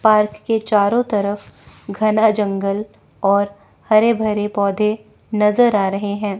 Park के चारों तरफ घना जंगल और हरे भरे पौधे नजर आ रहे हैं।